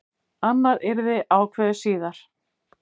Annað yrði ákveðið síðar.